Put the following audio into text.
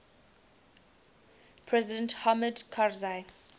president hamid karzai